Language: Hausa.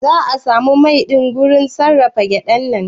Za'a samu mai ɗin daga wurin sarrafa gyaɗan ne?